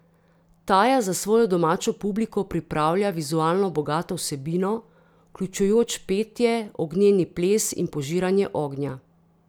Taja za svojo domačo publiko pripravlja vizualno bogato vsebino, vključujoč petje, ognjeni ples in požiranje ognja.